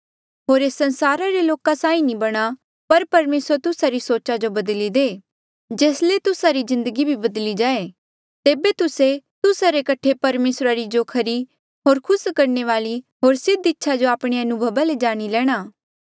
होर एस संसारा रे लोका साहीं नी बणा पर परमेसर तुस्सा री सोचा जो बदली दे जेस ले तुस्सा री जिन्दगी भी बधली जाए तेबे तुस्से तुस्सा रे कठे परमेसरा री जो खरी होर खुस करणे वाली होर सिद्ध इच्छा जो आपणे अनुभवा ले जाणी लेणा